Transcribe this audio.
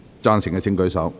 贊成的請舉手。